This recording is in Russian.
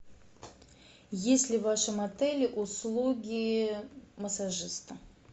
есть ли в вашем отеле услуги массажиста